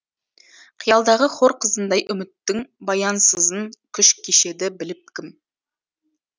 қиялдағы хор қызындай үміттің баянсызын күш кешеді біліп кім